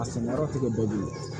A sɛnɛyɔrɔ ti kɛ bɛɛ bilen